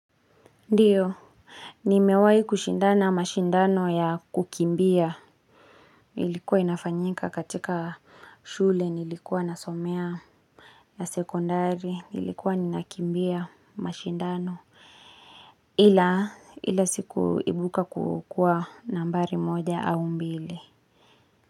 Ndiyo nimewahi kushindana mashindano ya kukimbia ilikuwa inafanyika katika shule nilikuwa nasomea ya sekondari nilikuwa ninakimbia mashindano ila ila sikuibuka kukua nambari moja au mbili.